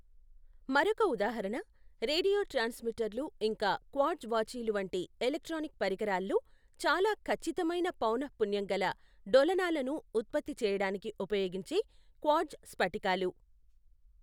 మరొక ఉదాహరణ రేడియో ట్రాన్స్మిటర్లు ఇంకా క్వార్ట్జ్ వాచీలు వంటి ఎలక్ట్రానిక్ పరికరాలలో చాలా ఖచ్చితమైన పౌనఃపున్యం గల డోలనాలను ఉత్పత్తి చేయడానికి ఉపయోగించే క్వార్ట్జ్ స్ఫటికాలు.